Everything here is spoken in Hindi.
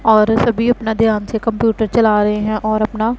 और सभी अपना ध्यान से कंप्यूटर चला रे हैं और अपना--